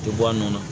Tɛ bɔ a nɔ na